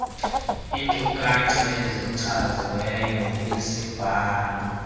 inkcukacha ezichaziweyo kwisibheno